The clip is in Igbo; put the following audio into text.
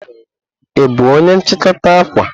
Ị bụ onye nchikota akwa?